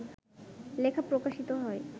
লেখা প্রকাশিত হয়